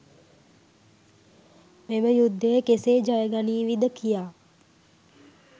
මෙම යුද්ධය කෙසේ ජය ගනීවිද කියා